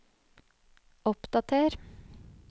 oppdater